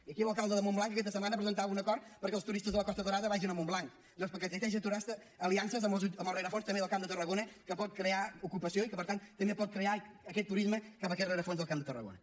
i aquí l’alcalde de montblanc que aquesta setmana presentava un acord perquè els turistes de la costa daurada vagin a montblanc doncs perquè teixeix aliances amb el rerefons també del camp de tarragona que pot crear ocupació i que per tant també pot crear aquest turisme cap a aquest rerefons del camp de tarragona